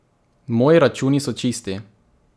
Moji računi so čisti.